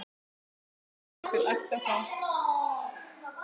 Hafi jafnvel æpt á þá.